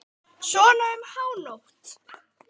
Svona um hánótt.